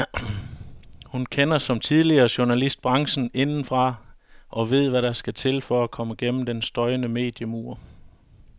Hun kender, som tidligere journalist, branchen indefra og ved hvad der skal til for at komme gennem den støjende mediemur.